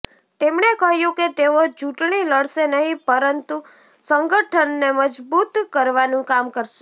તેમણે કહ્યું કે તેઓ ચૂંટણી લડશે નહીં પરંતુ સંગઠનને મજબૂત કરવાનું કામ કરશે